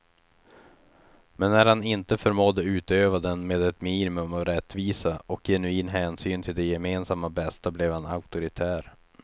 Men när han inte förmådde utöva den med ett minimum av rättvisa och genuin hänsyn till det gemensamma bästa blev han auktoritär.